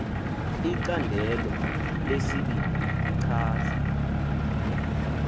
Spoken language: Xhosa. icandelo lesibini lichaza